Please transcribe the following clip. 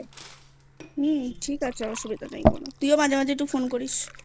হুম ঠিক আছে অসুবিধা নেই কোনো তুইও মাঝে মাঝে Phone করিসI